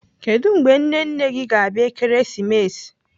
Kedụ mgbe nne nne gị ga-abịa Ekeresimesi?